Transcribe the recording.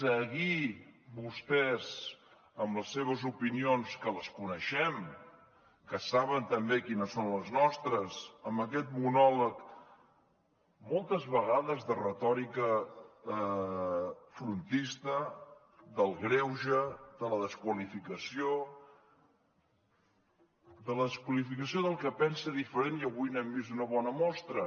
seguir vostès amb les seves opinions que les coneixem que saben també quines són les nostres amb aquest monòleg moltes vegades de retòrica frontista del greuge de la desqualificació de la desqualificació del que pensa diferent i avui n’hem vist una bona mostra